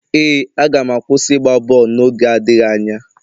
Ee, aga m akwụsị ịgba bọọlụ n'oge adịghị anya.